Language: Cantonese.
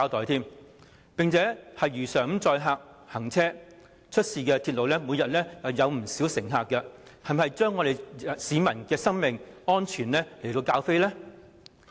西鐵線如常載客行車，每天接載大量乘客，港鐵公司是否把市民的生命安全置之不理？